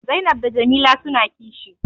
Zainab da Jamila suna kishi